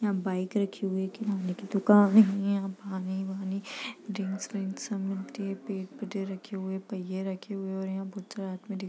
यहाँ बाइक रखी हुई है किराने की दुकान है | यहाँ पानी वानी ड्रिंक्स व्रिंक्स सब मिलती है | पहिये रखे हुए हैं और यहाँ |